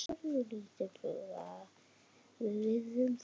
Við virðum það.